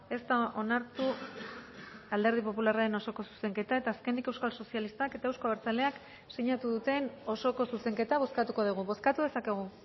ez da onartu alderdi popularraren osoko zuzenketa eta azkenik euskal sozialistak eta eusko abertzaleak sinatu duten osoko zuzenketa bozkatuko dugu bozkatu dezakegu